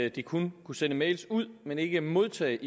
at de kun kunne sende mails ud men ikke modtage